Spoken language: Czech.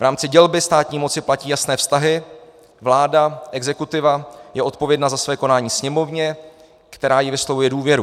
V rámci dělby státní moci platí jasné vztahy, vláda - exekutiva je odpovědná za své konání Sněmovně, která jí vyslovuje důvěru.